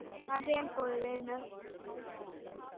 Far vel, góði vinur.